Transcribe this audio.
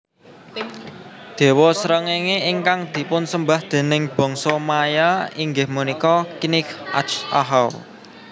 Déwa srengéngé ingkang dipunsembah déning bangsa Maya inggih punika Kinich ahau